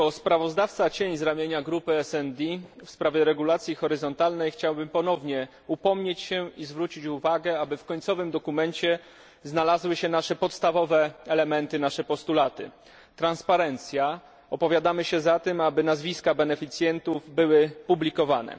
Jako kontrsprawozdawca z ramienia grupy SD w sprawie regulacji horyzontalnej chciałbym ponownie upomnieć się i zwrócić uwagę, aby w końcowym dokumencie znalazły się nasze podstawowe elementy, nasze postulaty transparencja opowiadamy się za tym, aby nazwiska beneficjentów były publikowane